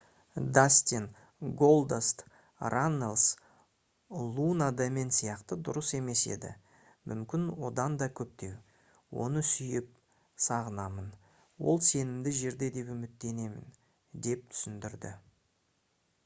дастин «голдаст» раннелс «луна да мен сияқты дұрыс емес еді...мүмкін одан да көптеу...оны сүйіп сағынамын...ол сенімді жерде деп үміттенемін» деп түсіндірді